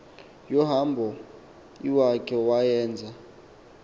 yohambo iwakhe wayeza